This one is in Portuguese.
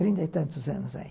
Trinta e tantos anos aí.